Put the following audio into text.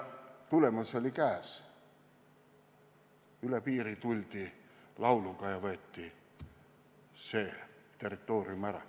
Tagajärg on käes – lauluga tuldi üle piiri ja see territoorium võeti ära.